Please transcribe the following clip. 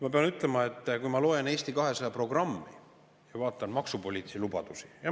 Ma pean ütlema, et kui ma loen Eesti 200 programmi ja vaatan maksupoliitilisi lubadusi, siis …